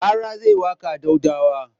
Rara zai yi waƙa a Daudawa.